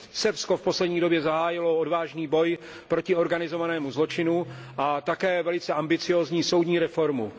Srbsko v poslední době zahájilo odvážný boj proti organizovanému zločinu a také velice ambiciózní soudní reformu.